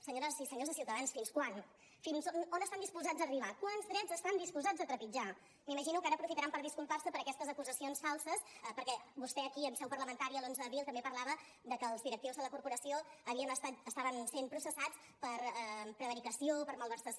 senyores i senyors de ciutadans fins quan fins a on estan disposats a arribar quants drets estan disposats a trepitjar m’imagino que ara aprofitaran per disculpar se per aquestes acusacions falses perquè vostè aquí en seu parlamentària l’onze d’abril també parlava de que els directius de la corporació estaven sent processats per prevaricació per malversació